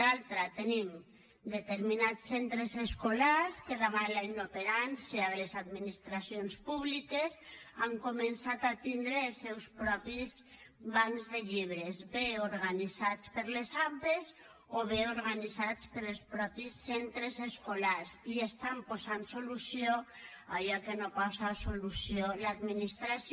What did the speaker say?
d’altra tenim determinats centres escolars que davant la inoperància de les administracions públiques han començat a tindre els seus propis bancs de llibres bé organitzats per les ampa o bé organitzats pels mateixos centres escolars i estan posant solució a allò que no posa solució l’administració